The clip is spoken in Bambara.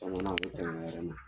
A ɲɛna a ti tɛmɛ ni kan